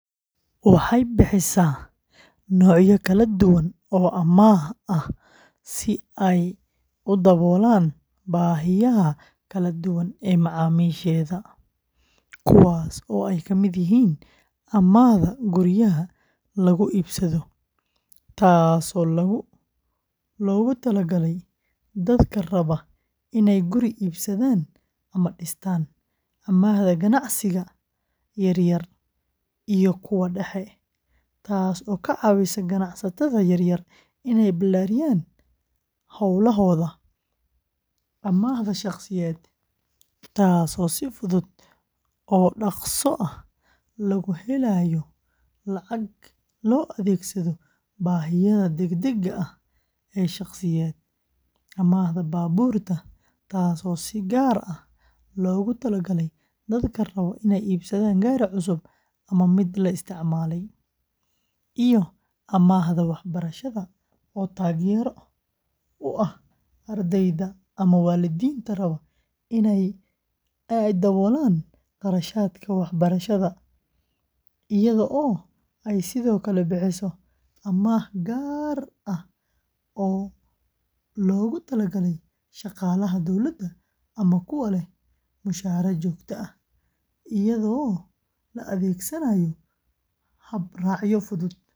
Waxay bixisaa noocyo kala duwan oo amaah ah si ay u daboolaan baahiyaha kala duwan ee macaamiisheeda, kuwaas oo ay ka mid yihiin amaahda guryaha lagu iibsado, taasoo loogu talagalay dadka raba inay guri iibsadaan ama dhistaan; amaahda ganacsiga yar yar iyo kuwa dhexe, taas oo ka caawisa ganacsatada yaryar inay ballaariyaan hawlahooda; amaahda shaqsiyeed ee degdega ah, taasoo si fudud oo dhaqso ah loogu helayo lacag loo adeegsado baahiyaha degdegga ah ee shakhsiyeed; amaahda baabuurta, taas oo si gaar ah loogu talagalay dadka raba inay iibsadaan gaari cusub ama mid la isticmaalay; iyo amaahda waxbarashada, oo taageero u ah ardayda ama waalidiinta raba in ay daboolaan kharashaadka waxbarasho; iyadoo ay sidoo kale bixiso amaah gaar ah oo loogu talagalay shaqaalaha dowladda ama kuwa leh mushahar joogto ah, iyadoo la adeegsanayo habraacyo fudud.